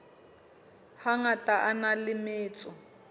hangata a na le metso